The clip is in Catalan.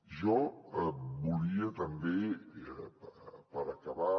jo volia també per acabar